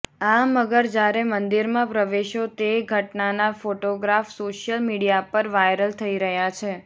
આ મગર જ્યારે મંદિરમાં પ્રવેશ્યો તે ઘટનાના ફોટોગ્રાફ સોશિયલ મીડિયા પર વાયરલ થઈ રહ્યા છે